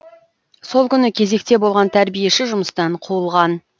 сол күні кезекте болған тәрбиеші жұмыстан қуылған